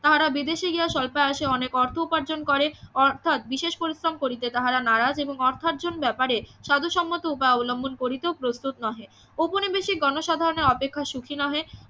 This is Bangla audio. তাহারা বিদেশে গিয়া স্বল্পায়াসে অনেক অর্থ উপার্জন করে অর্থাৎ বিশেষ পরিশ্রম করিতে তাহারা নারাজ এবং অর্থার্জন ব্যাপারে সদসম্মাত উপায় অবলম্বন করিতেও প্রস্তুত নহে ঔপনিবেশিক গনসাধারণের অপেক্ষা সুখী নহে